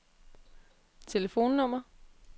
telefonnummer